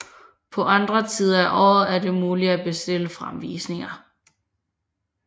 På andre tider af året er det muligt at bestille fremvisninger